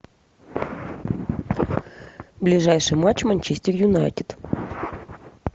ближайший матч манчестер юнайтед